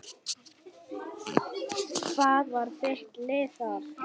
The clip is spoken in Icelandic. Hvað var þitt lið þar?